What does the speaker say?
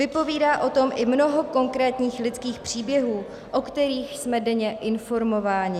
Vypovídá o tom i mnoho konkrétních lidských příběhů, o kterých jsme denně informováni.